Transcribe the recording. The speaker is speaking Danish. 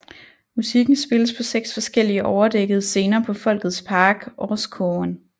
Musikken spilles på seks forskellige overdækkede scener på Folkets Park Orrskogen